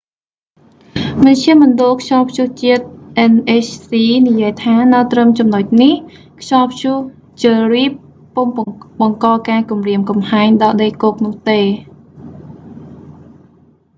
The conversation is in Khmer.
មជ្ឈមណ្ឌលខ្យល់ព្យុះជាតិ nhc និយាយថា នៅត្រឹមចំណុចនេះ ខ្យល់ព្យុះ jerry ពុំបង្កការគំរាមកំហែងដល់ដីគោកនោះទេ